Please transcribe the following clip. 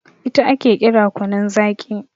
ita ake kira kunun Zaki